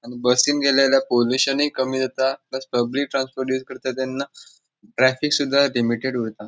आणि बसीन गेल्याला पोलुशनूय कमी जाता प्लस पब्लिक ट्रांसपोर्ट तेन्ना ट्रॅफिकसुधा लिमिटेड उरता.